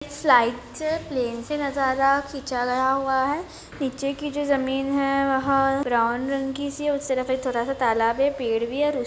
side से plane से नजारा खीचा गया हुआ है नीचे की जो जमीन है वह ब्राउन रंग की सी और उस तरफ एक थोड़ा सा तालाब है और पेड़ भी है और--